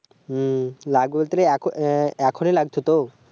হু লাগবে তো এখনই লাগবে তো